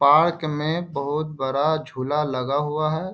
Park में बहुत बड़ा झूला लगा हुआ हैं।